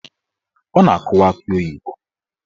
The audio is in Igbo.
Ọ na-akụwa akị oyibo.